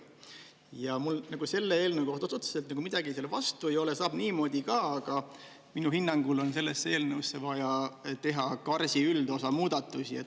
Ja mul selle eelnõu kohta, otseselt midagi selle vastu ei ole, saab niimoodi ka, aga minu hinnangul on sellesse eelnõusse vaja teha KarS-i üldosa muudatusi.